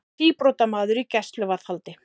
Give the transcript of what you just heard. Síbrotamaður í gæsluvarðhaldi